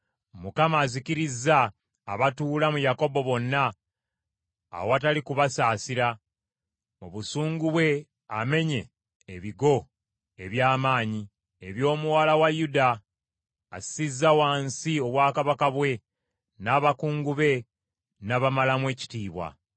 Mukama azikirizza abatuula mu Yakobo bonna awatali kubasaasira; mu busungu bwe amenye ebigo eby’amaanyi eby’omuwala wa Yuda; assizza wansi obwakabaka bwe n’abakungu be n’abamalamu ekitiibwa.